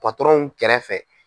Patɔrɔnw kɛrɛ fɛ.